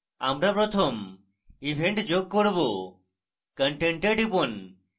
আমরা প্রথম event যোগ করব content we টিপুন